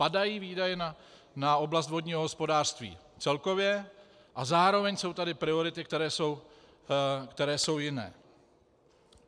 Padají výdaje na oblast vodního hospodářství celkově a zároveň jsou tady priority, které jsou jiné.